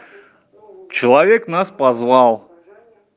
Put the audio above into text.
человек нас позвал